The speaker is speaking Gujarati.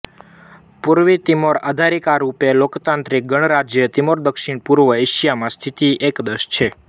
પૂર્વી તિમોર આધિકારિક રૂપે લોકતાંત્રિક ગણરાજ્ય તિમોર દક્ષિણ પૂર્વ એશિયા માં સ્થિત એક દેશ છે